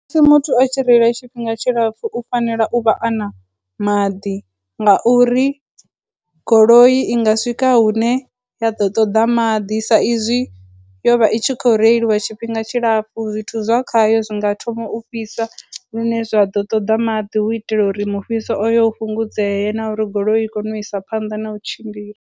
Musi muthu a tshi reila tshifhinga tshilapfu, u fanela u vha a na maḓi, ngauri goloi i nga swika hune ya ḓo ṱoḓa maḓi sa izwi yo vha i tshi khou reiliwa tshifhinga tshilapfhu, zwithu zwa khayo zwi nga thoma u fhisa lune zwa ḓo ṱoḓa maḓi, hu u itela uri mufhiso uyo u fhungudzee na uri goloi i kone u isa phanḓa na u tshimbila.